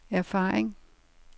erfaring